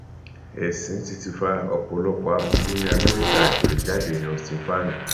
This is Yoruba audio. ẹsìn ti ti fa ọpọlọpọ aburú ní amẹríkà àgbèrèjáde austin fáànì